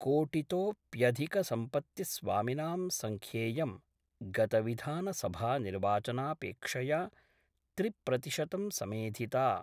कोटितोप्यधिकसम्पत्तिस्वामिनां संख्येयं गतविधानसभानिर्वाचनापेक्षया त्रिप्रतिशतं समेधिता।